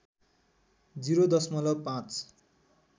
० दशमलव ५